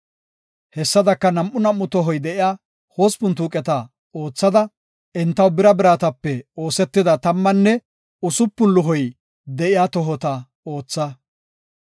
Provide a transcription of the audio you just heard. Hessadaka nam7u nam7u tohoy de7iya hospun tuuqeta oothada, entaw bira biratape oosetida tammanne usupun luhoy de7iya tohota ootha.